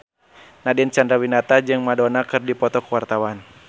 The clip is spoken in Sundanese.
Nadine Chandrawinata jeung Madonna keur dipoto ku wartawan